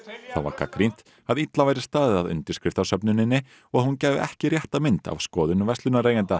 þá var gagnrýnt að illa væri staðið að undirskriftasöfnuninni og að hún gæfi ekki rétta mynd af skoðun verslunareigenda